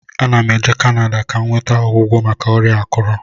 Ana m eje Kanada ka m nweta ọgwụgwọ maka ọrịa akụrụ